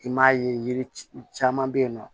I m'a ye yiri caman bɛ yen nɔ